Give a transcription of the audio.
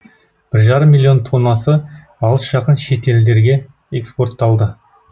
бір жарым миллион тоннасы алыс жақын шетелдерге экспортталды